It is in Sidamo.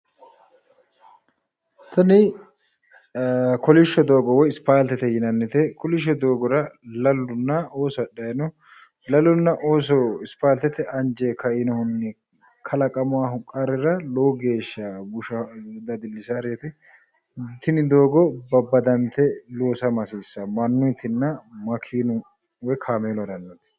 Tini kolishsho doogo ispaaltete yinannite. Kolishsho doogora lalunna ooso hadhayino. Lalunna ooso ispaaltete anjeyi kainohunni kalaqamawo qarrira lowo geeshsha bushaho. Dadillisaworeeti. Tini doogo babbadante loosama hasiissawo mannuyitinna makeenu woyi kaameelu harannoti.